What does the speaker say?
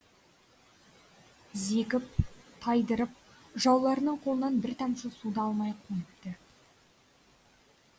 зекіп тайдырып жауларының қолынан бір тамшы су да алмай қойыпты